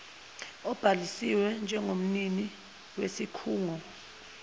obhaliswe njengomnini wesikhungo